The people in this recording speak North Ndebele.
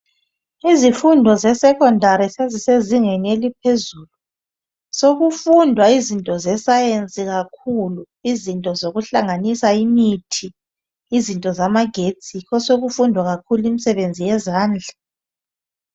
Izifundo ze secondary ,sezisezingeni eliphezulu .Sokufundwa izinto zesayensi kakhulu ,izinto zokuhlanganisa imithi , izinto zamagetsi. Yikho sokufundwa kakhulu imisebenzi yezandla.